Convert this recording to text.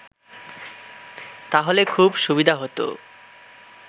তাহলে খুব সুবিধা হত